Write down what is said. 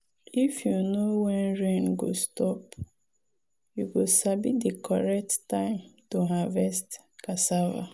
if you know when rain go stop you go sabi di correct time to harvest cassava.